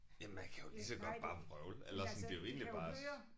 Jamen man kan jo lige så godt bare vrøvle eller sådan det er jo egentlig bare